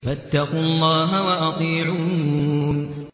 فَاتَّقُوا اللَّهَ وَأَطِيعُونِ